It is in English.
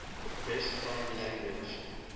best foreign language